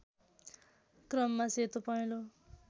क्रममा सेतो पहेँलो